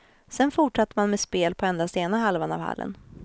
Sedan fortsatte man med spel på endast ena halvan av hallen.